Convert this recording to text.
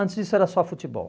Antes disso era só futebol.